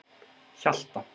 Hjalta